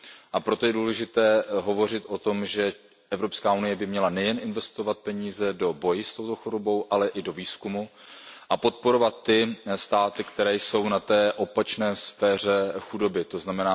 A proto je důležité hovořit o tom, že Evropská unie by měla nejen investovat peníze do boje s touto chorobou, ale i do výzkumu a podporovat ty státy, které jsou v té opačné sféře chudoby, tzn.